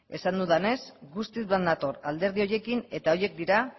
esan dudanez guztiz bat nator alderdi horiekin eta horiek dira